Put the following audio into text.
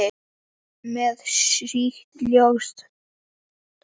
Með sítt, ljóst hár.